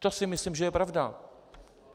To si myslím, že je pravda.